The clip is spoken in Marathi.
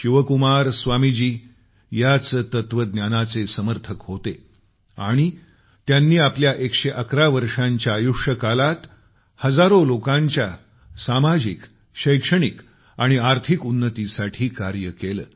शिवकुमार स्वामीजी याच तत्वज्ञानाचे समर्थक होते आणि त्यांनी आपल्या 111 वर्षांच्या आयुष्यकालात हजारो लोकांच्या सामाजिक शैक्षणिक आणि आर्थिक उन्नतीसाठी कार्य केलं